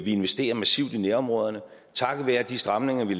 investerer massivt i nærområderne takket være de stramninger vi